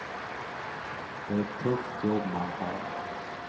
Det är ett tufft jobb man har.